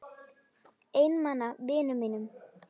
Einmana vinum mínum.